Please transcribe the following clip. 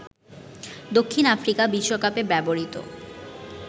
দক্ষিণ আফ্রিকা বিশ্বকাপে ব্যবহৃত